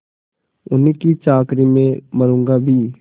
उन्हीं की चाकरी में मरुँगा भी